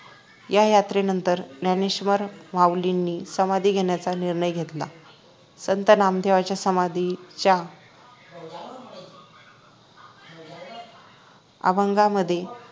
या यात्रेनंतर ज्ञानेश्वरमाऊलींनी समाधी घेण्याचा निर्णय घेतला संत नामदेवांच्या समाधीच्या अभंगा मध्ये